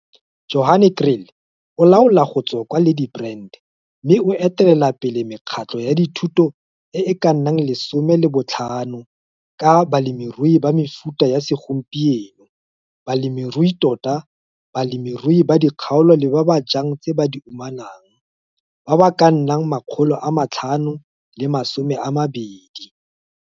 Johan Kriel o laola go tswa kwa Ladybrand mme o etelelapele mekgatlho ya dithuto e e ka nnang 15 ka balemirui ba mefuta ya segompieno, balemiruitota, balemirui ba dikgaolo le ba ba jang tse ba di umanag ba ba ka nnang 520.